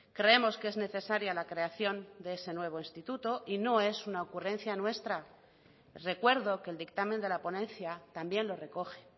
creemos que es necesaria la creación de ese nuevo instituto y no es una ocurrencia nuestra recuerdo que el dictamen de la ponencia también lo recoge